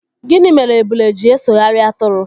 Gịnị mere ebule ji esoghari atụrụ?